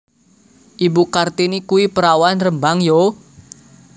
Ibu Kartini kui perawan Rembang yo?